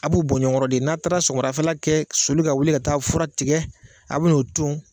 A b' u bɔ ɲɔnkɔrɔ de , n'a taara sofɔmadafɛla kɛ, a bɛ sɔli ka wuli ka taa fura tigɛ a bɛ n'o ton.